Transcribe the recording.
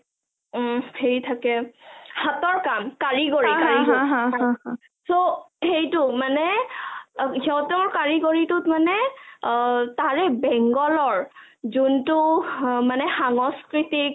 উম হেৰি থাকে হাঁতৰ কাম কাৰিকৰি so সেইটো মানে সিহঁতৰ কাৰিকৰিটোত মানে তাৰে bengal ৰ যোনটো মানে সাংস্কিতিক